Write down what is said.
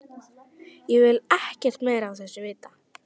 Ég vil ekkert meira af þessu vita.